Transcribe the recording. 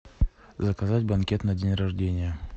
заказать банкет на день рождения